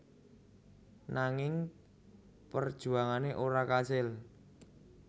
Nanging perjuangane ora kasil